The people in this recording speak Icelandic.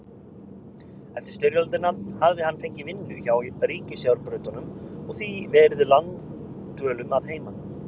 Eftir styrjöldina hafði hann fengið vinnu hjá ríkisjárnbrautunum og því verið langdvölum að heiman.